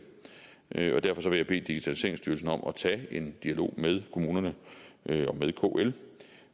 og derfor vil jeg bede digitaliseringsstyrelsen om at tage en dialog med kommunerne og med kl